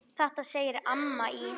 Þetta segir amman í